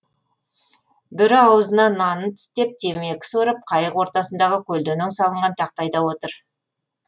бірі аузына нанын тістеп темекі сорып қайық ортасындағы көлденең салынған тақтайда отыр